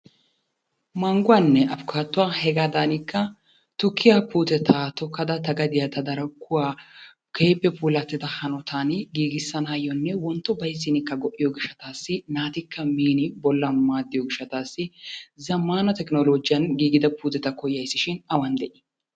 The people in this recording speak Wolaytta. Mangguwaanne afkaattuwa hegaadaanikka tukkiya puuteta tokkada ta gadiya ta darkkuwa keehippe puulattida hanotaani giigisanaayyonne wontto bayiziinikka go"iyo gishshataassi naatikka miini bollan maaddiyoo gishshataassi zammaana tekinoologiyan giigida puuteta koyayisi shin awan de"i?